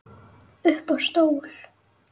Upp á stól